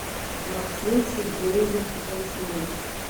максим сергеевич веснин